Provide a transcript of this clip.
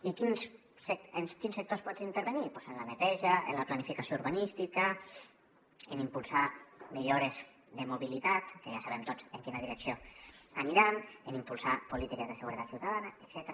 i en quins sectors pots intervenir doncs en la neteja en la planificació urbanística en impulsar millores de mobilitat que ja sabem tots en quina direcció aniran en impulsar polítiques de seguretat ciutadana etcètera